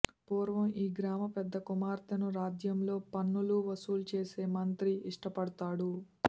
పూర్వం ఈ గ్రామపెద్ద కుమార్తెను రాజ్యంలో పన్నులు వసూలు చేసే మంత్రి ఇష్టపడుతాడు